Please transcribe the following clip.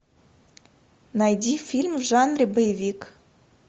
найди фильм в жанре боевик